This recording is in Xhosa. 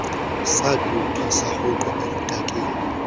saxuthwa sarhuqwa eludakeni